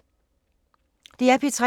DR P3